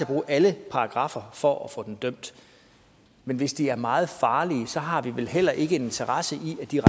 bruge alle paragraffer for at få dem dømt men hvis de er meget farlige har vi vel heller ikke interesse i at de